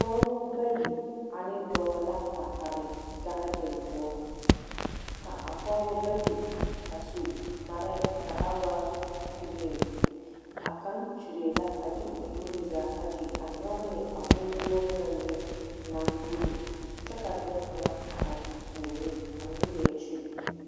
Pɔɔbɔ bayi ane dɔɔ la a are gaadiŋ poɔ, ka a pɔɔbɔ bayi a su kparɛɛ ka a waa giriiŋ. A kaŋ kyuree la a de o nuuri zaa ayi a nyɔge ne a boŋguolo ŋa mine naŋ buli, kɛ ka dɔɔ kaŋa a are o puoriŋ a meŋ leɛ kyuri.